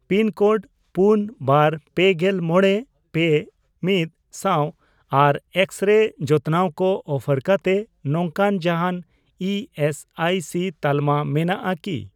Pin code ᱯᱩᱱ, ᱵᱟᱨ ,ᱯᱮᱜᱮᱞ ᱢᱚᱬᱮ, ᱯᱮ, ᱢᱤᱫ ᱥᱟᱶ ᱟᱨ ᱮᱠᱥᱼᱨᱮᱭ ᱡᱚᱛᱱᱟᱣ ᱠᱚ ᱚᱯᱷᱟᱨ ᱠᱟᱛᱮ ᱱᱚᱝᱠᱟᱱ ᱡᱟᱦᱟᱱ ᱤ ᱮᱥ ᱟᱭ ᱥᱤ ᱛᱟᱞᱢᱟ ᱢᱮᱱᱟᱜᱼᱟ ᱠᱤ ?